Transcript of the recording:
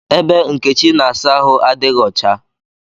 Ebe Nkechi na-asa ahụ adighi ọcha